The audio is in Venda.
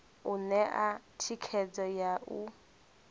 u ṋea thikhedzo ya u